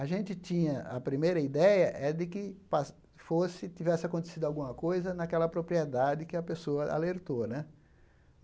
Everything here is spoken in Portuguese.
A gente tinha a primeira ideia é de que pa fosse tivesse acontecido alguma coisa naquela propriedade que a pessoa alertou né.